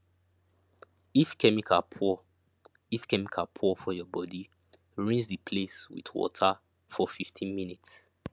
if chemical pour if chemical pour for your body rinse the place with water for 15 minutes